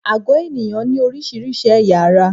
Àgó ènìyàn ní oríṣiríṣi ẹ̀yà-ara.